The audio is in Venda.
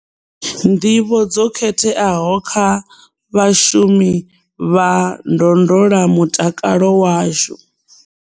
Nḓivho dzo khetheaho kha vhashumi vha ndondolamutakalo washu.